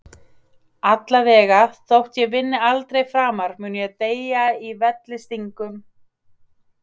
Allavega, þótt ég vinni aldrei framar mun ég deyja í vellystingum.